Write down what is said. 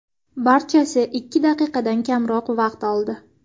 Barchasi ikki daqiqadan kamroq vaqt oldi.